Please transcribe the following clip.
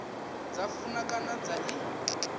dza funa kana dza i